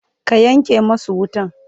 ka Yanke masu wutan!